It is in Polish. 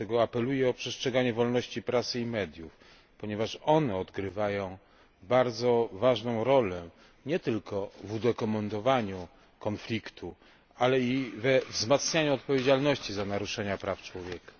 Dlatego apeluję o przestrzeganie wolności prasy i mediów, ponieważ one odgrywają bardzo ważną rolę nie tylko w udokumentowaniu konfliktu, ale i we wzmacnianiu odpowiedzialności za naruszenia praw człowieka.